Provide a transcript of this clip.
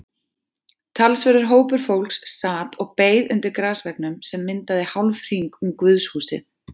Talsverður hópur fólks sat og beið undir grasveggnum sem myndaði hálfhring um guðshúsið.